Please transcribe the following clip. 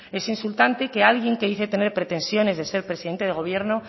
es insultante que alguien que dice tener pretensiones de ser presidente de gobierno